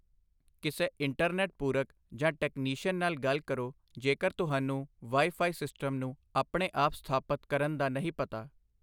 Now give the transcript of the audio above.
ਕਿਸੇ ਇੰਟਰਨੈੱਟ ਪੂਰਕ ਜਾਂ ਟੈਕਨੀਸ਼ੀਅਨ ਨਾਲ ਗੱਲ ਕਰੋ, ਜੇਕਰ ਤੁਹਾਨੂੰ ਵਾਈ ਫਾਈ ਸਿਸਟਮ ਨੂੰ ਆਪਣੇ ਆਪ ਸਥਾਪਤ ਕਰਨ ਦਾ ਨਹੀਂ ਪਤਾ।